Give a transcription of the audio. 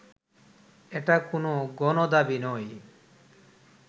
এটা কোন গণদাবী নয়